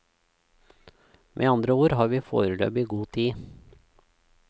Med andre ord har vi foreløpig god tid.